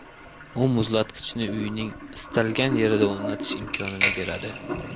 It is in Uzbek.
U muzlatgichni uyning istalgan yerida o‘rnatish imkonini beradi.